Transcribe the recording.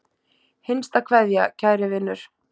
HINSTA KVEÐJA Kæri vinur.